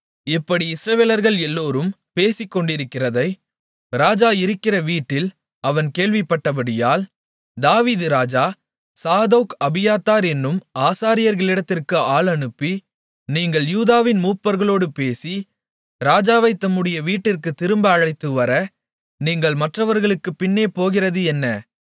இப்படி இஸ்ரவேலர்கள் எல்லோரும் பேசிக்கொண்டிருக்கிறதை ராஜா இருக்கிற வீட்டில் அவன் கேள்விப்பட்டபடியால் தாவீது ராஜா சாதோக் அபியத்தார் என்னும் ஆசாரியர்களிடத்திற்கு ஆள் அனுப்பி நீங்கள் யூதாவின் மூப்பர்களோடு பேசி ராஜாவைத் தம்முடைய வீட்டிற்குத் திரும்ப அழைத்துவர நீங்கள் மற்றவர்களுக்குப் பின்னே போகிறது என்ன